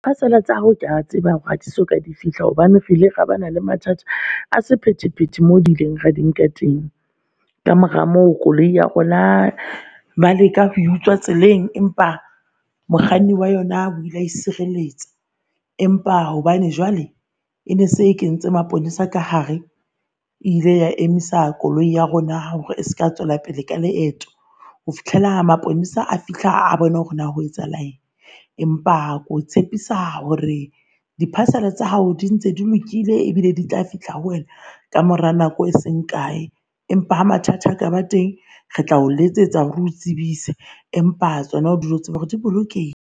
Parcel tsa hao kea tseba hore ha soka di fihla hobane rile ra bana le mathata a sephethephethe mo di ileng ra di nka teng. Ka mora moo. Koloi ya rona ba leka ho e utswa tseleng empa mokganni wa yona o ile a e sireletsa empa hobane jwale e ne se kentse maponesa ka hare, ile ya emisa koloi ya rona hore eska tswela pele ka leeto. Ho fihlela maponesa a fihla. A bone hore na ho etsahala eng. Empa ko tshepisa hore di parcel tsa hao di ntse di lokile ebile di tla fihla ho wena kamora nako e seng kae, empa ha mathata a ka ba teng. Re tlao letsetsa hore o tsebise, empa tsona dule o tseba hore di bolokehile.